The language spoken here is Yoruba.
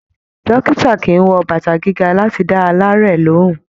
Dókítà kìí wọ bàtà gíga láti dá alaarẹ̀ lohùn.